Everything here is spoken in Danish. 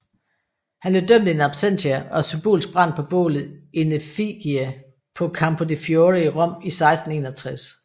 Han blev dømt in absentia og symbolsk brændt på bålet in effigie på Campo di Fiore i Rom i 1661